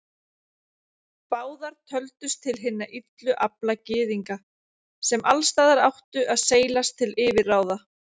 Báðar töldust til hinna illu afla Gyðinga, sem alls staðar áttu að seilast til yfirráða.